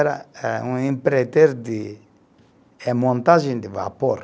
Era eh um empreiteiro de, eh montagem de vapor.